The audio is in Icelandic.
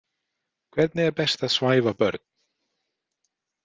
Hvernig er best að svæfa börn?